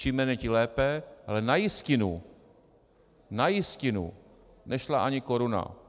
Čím méně, tím lépe, ale na jistinu, na jistinu nešla ani koruna.